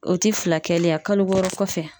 O ti fila kɛlen yen wa wɔɔrɔ kɔfɛ?